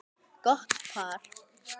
Gott par.